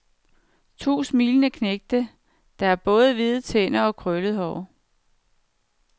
To smilende knægte, der har store hvide tænder og krøllet hår.